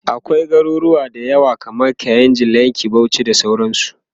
akwai a garuruwa da yawa kaman kainji, lekki, Bauchi da sauransu